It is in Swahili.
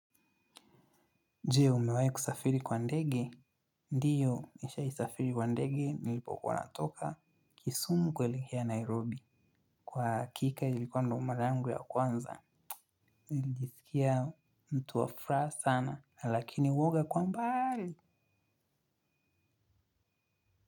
Jee, umewahi kusafiri kwa ndege? Ndio, nishawaisafiri kwa ndege, nilipokuwa natoka. Kisumu kuelekea Nairobi. Kwa hakika, ilikuwa ndio mara yangu ya kwanza. Nilijisikia mtu wa furaha sana, lakini uoga kwa umbali.